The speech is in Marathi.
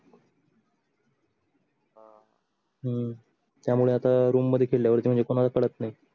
हम्म त्या मुळे आता room मध्ये खेळल्यावर पडत नाही